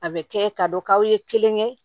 A bɛ kɛ ka dɔn k'aw ye kelen kɛ